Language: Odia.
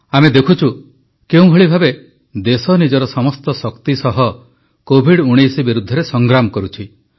ଆମେ ଦେଖୁଛୁ କେଉଁଭଳି ଭାବେ ଦେଶ ନିଜର ସମସ୍ତ ଶକ୍ତି ସହ କୋଭିଡ୍19 ବିରୁଦ୍ଧରେ ସଂଗ୍ରାମ କରୁଛି